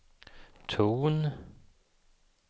ton